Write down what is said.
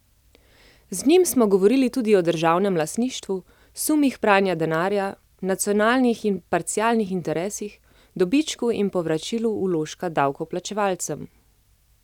Z njim smo govorili tudi o državnem lastništvu, sumih pranja denarja, nacionalnih in parcialnih interesih, dobičku in povračilu vložka davkoplačevalcem.